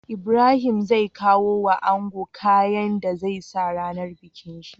Ibrahim zai kawo wa ango kayan da zai sa rAnar bikin shi